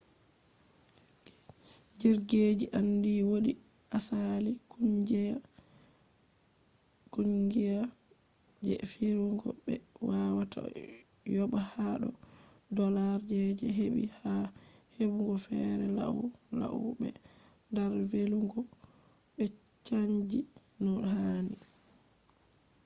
jirgije andi wodi asali kungiya je firugo be wawata yoba hado dolllars je hebi ha hebugo fere lau lau be dar velugo be chanji no hani